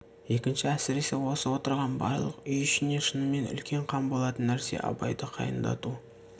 екінші әсіресе осы отырған барлық үй ішіне шынымен үлкен қам болатын нәрсе абайды қайындату